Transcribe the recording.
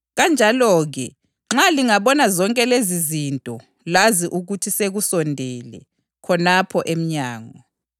Kanjalo-ke, nxa lingabona zonke lezizinto, lazi ukuthi sekusondele, khonapho emnyango.